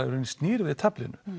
í rauninni snýr við taflinu